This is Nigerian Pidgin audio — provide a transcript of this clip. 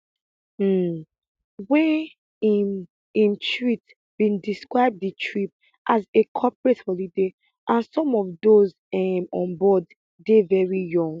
um wey im im treat bin describe di trip as a corporate holiday and some of those um on board dey very young